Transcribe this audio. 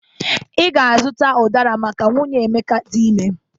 Ị ga-azụta ụdara maka nwunye Emeka dị ime